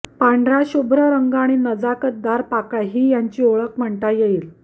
पांढराशुभ्र रंग आणि नजाकतदार पाकळ्या ही यांची ओळख म्हणता येईल